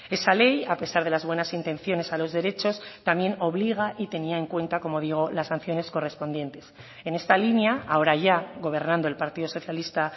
esa ley a pesar de las buenas intenciones a los derechos también obliga y tenía en cuenta como digo las sanciones correspondientes en esta línea ahora ya gobernando el partido socialista